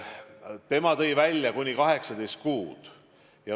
Õiguskantsler tõi välja kuni 18 kuud.